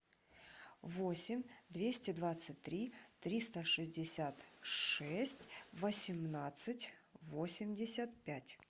восемь двести двадцать три триста шестьдесят шесть восемнадцать восемьдесят пять